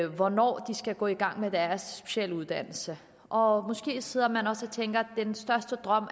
hvornår de skal gå i gang med deres specialuddannelse og måske sidder man også og tænker at ens største drøm